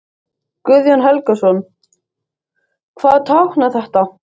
Guðjón Helgason: Hvað táknar þetta?